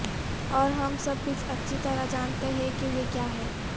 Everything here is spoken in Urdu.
اور ہم سب بھی اچھی طرح جانتے ہیں کہ یہ کیا ہے